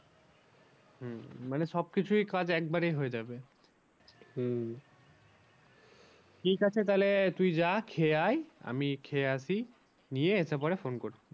হম মানে সব কিছুই কাজ একবারেই হয়ে যাবে। হম ঠিক আছে তাহলে তুই যা খেয়ে আয় আমি খেয়ে আসি গিয়ে এসে পরে phone করছি।